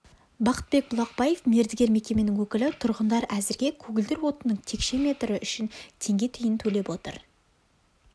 бақытбек бұлақбаев мердігер мекеменің өкілі тұрғындар әзірге көгілдір отынның текше метрі үшін теңге тиын төлеп отыр